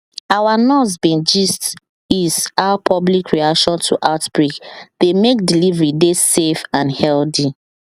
our nurse bin gist is how public reaction to outbreak dey mek delivery dey safe and healthy